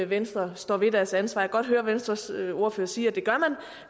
venstre står ved deres ansvar kan godt høre at venstres ordfører siger